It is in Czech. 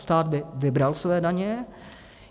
Stát by vybral své daně.